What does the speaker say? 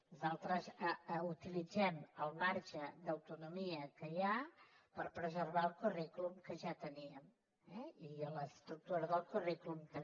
nosaltres utilitzem el marge d’autonomia que hi ha per preservar el currículum que ja teníem eh i l’estructura del currículum també